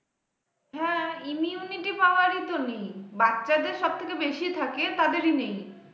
হ্যাঁ immunity power ই তো বাচ্চাদের সবথেকে বেশি থাকে তাদেরই নেই।